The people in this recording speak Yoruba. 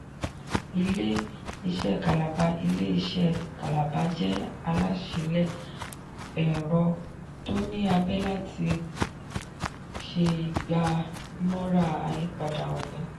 ilé-iṣé kalaba ilé-iṣé kalaba jẹ alásìíle ẹ̀rọ tó ní abé láti ṣe ìgbà-mọra àyípadà òní.